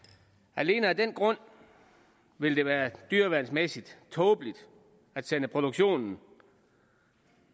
alene af den grund ville det være dyreværnsmæssigt tåbeligt at sende produktionen